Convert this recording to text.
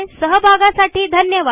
सहभागासाठी धन्यवाद